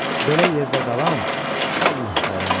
Belə yerdə qalan, vallah, vərəmlər.